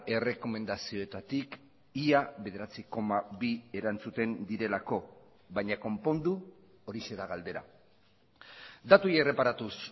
errekomendazioetatik ia bederatzi koma bi erantzuten direlako baina konpondu horixe da galdera datuei erreparatuz